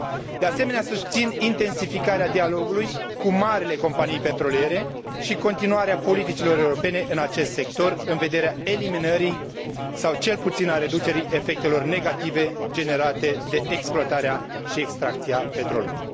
De asemenea, susțin intensificarea dialogului cu marile companii petroliere și continuarea politicilor europene în acest sector, în vederea eliminării, sau cel puțin a reducerii, efectelor negative generate de exploatarea și extracția petrolului.